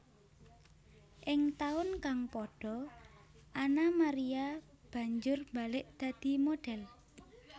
Ing taun kang padha Anna Maria banjur mbalik dadi modhél